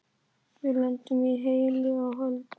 Við lentum heilu og höldnu.